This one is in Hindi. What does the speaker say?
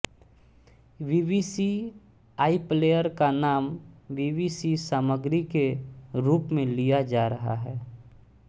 बीबीसी आईप्लेयर का नाम बीबीसी सामग्री के रूप में लिया जा रहा है